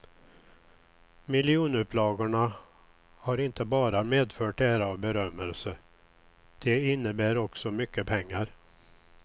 Miljonupplagorna har inte bara medfört ära och berömmelse, de innebär också mycket pengar.